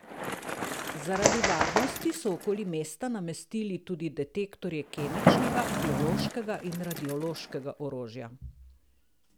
Zaradi varnosti so okoli mesta namestili tudi detektorje kemičnega, biološkega in radiološkega orožja.